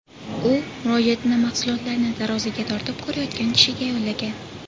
U murojaatini mahsulotlarni taroziga tortib ko‘rayotgan kishiga yo‘llagan.